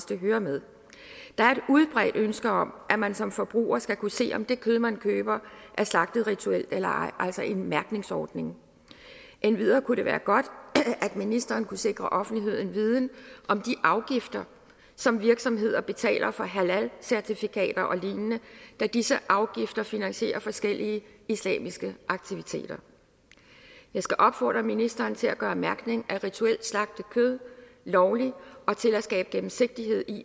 det hører med der er et udbredt ønske om at man som forbruger skal kunne se om det kød man køber er slagtet rituelt eller ej altså om en mærkningsordning endvidere kunne det være godt at ministeren kunne sikre offentligheden viden om de afgifter som virksomheder betaler for halalcertifikater og lignende da disse afgifter finansierer forskellige islamiske aktiviteter jeg skal opfordre ministeren til at gøre mærkning af rituelt slagtet kød lovlig og til at skabe gennemsigtighed